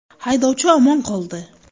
Haydovchi omon qoldi.